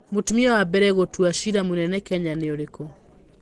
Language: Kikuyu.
Mũtumia wa mbere gũtua cira mũnene Kenya nĩ ũrĩkũ?